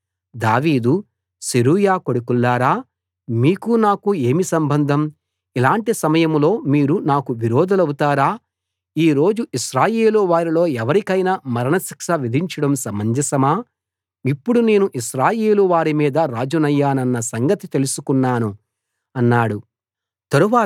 దావీదు సెరూయా కొడుకుల్లారా మీకూ నాకూ ఏమి సంబంధం ఇలాంటి సమయంలో మీరు నాకు విరోధులవుతారా ఈ రోజు ఇశ్రాయేలు వారిలో ఎవరికైనా మరణశిక్ష విధించడం సమంజసమా ఇప్పుడు నేను ఇశ్రాయేలు వారిమీద రాజునయ్యానన్న సంగతి తెలుసుకున్నాను అన్నాడు తరువాత